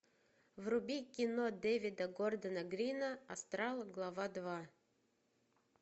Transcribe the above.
вруби кино дэвида гордона грина астрал глава два